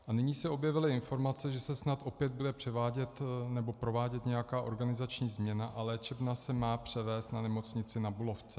A nyní se objevily informace, že se snad opět bude převádět nebo provádět nějaká organizační změna a léčebna se má převést na nemocnici Na Bulovce.